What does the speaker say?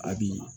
A bi